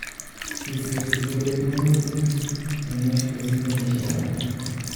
kisir sigulit mongutik chemyach kosir kenyishek alak